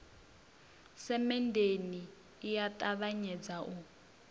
semenndeni i a ṱavhanyedza u